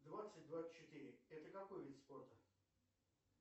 двадцать двадцать четыре это какой вид спорта